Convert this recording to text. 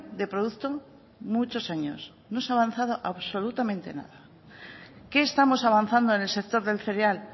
de producto muchos años no se ha avanzado absolutamente nada qué estamos avanzando en el sector del cereal